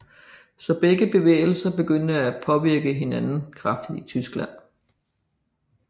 Så begge bevægelser begyndte at påvirke hinanden kraftigt i Tyskland